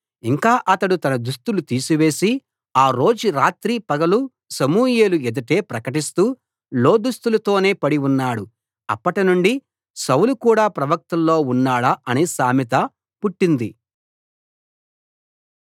ఇంకా అతడు తన దుస్తులు తీసివేసి ఆ రోజు రాత్రి పగలు సమూయేలు ఎదుటే ప్రకటిస్తూ లోదుస్తులతోనే పడి ఉన్నాడు అప్పటినుండి సౌలు కూడా ప్రవక్తల్లో ఉన్నాడా అనే సామెత పుట్టింది